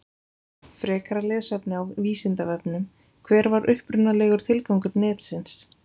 Frekara lesefni á Vísindavefnum: Hver var upprunalegur tilgangur netsins?